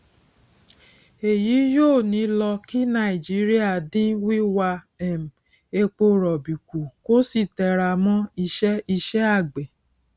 èyí yóò ní lọ kí nàìjíríà dín wíwà um epo rọbì kú kó sì tẹra mọ ìṣe ìṣe àgbẹ